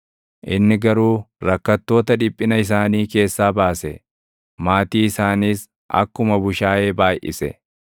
Inni garuu rakkattoota dhiphina isaanii keessaa baase; maatii isaanis akkuma bushaayee baayʼise.